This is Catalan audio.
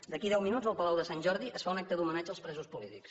d’aquí a deu minuts al palau de sant jordi es fa un acte d’homenatge als presos polítics